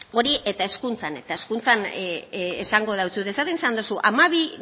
hori eta hezkuntzan eta hezkuntza esango deutsut esaten izan duzu hamabi